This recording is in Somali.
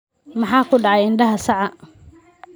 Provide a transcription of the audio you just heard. Maxaa ku dhacay indhaha saca?